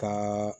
Ka